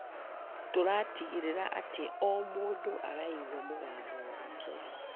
Tũratigĩrĩra atĩ o mũndũ araigua mũgambo wake.